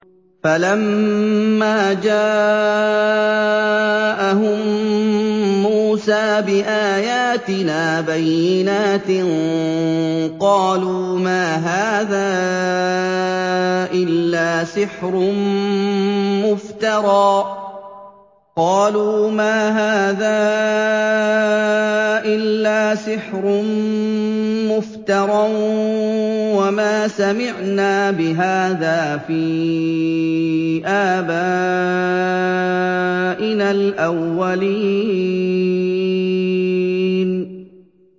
فَلَمَّا جَاءَهُم مُّوسَىٰ بِآيَاتِنَا بَيِّنَاتٍ قَالُوا مَا هَٰذَا إِلَّا سِحْرٌ مُّفْتَرًى وَمَا سَمِعْنَا بِهَٰذَا فِي آبَائِنَا الْأَوَّلِينَ